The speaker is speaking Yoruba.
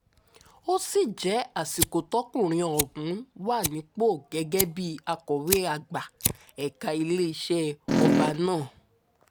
ó sì jẹ́ àsìkò tọkùnrin ọ̀hún wà nípò gẹ́gẹ́ bíi akọ̀wé àgbà ẹ̀ka iléeṣẹ́ ọba náà